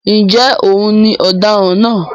ǹjẹ́ òun ni òdaran náà?